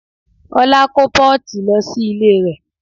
Ọlá kó pọ́ọ̀tì lọ sí ilé rẹ̀